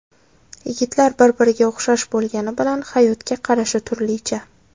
Yigitlar bir-biriga o‘xshash bo‘lgani bilan, hayotga qarashi turlicha.